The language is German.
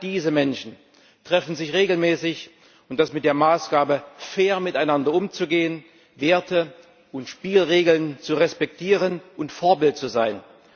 Alle diese Menschen treffen sich regelmäßig, und das mit der Maßgabe, fair miteinander umzugehen, Werte und Spielregeln zu respektieren und Vorbild zu sein.